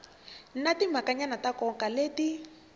na timhakanyana ta nkoka leti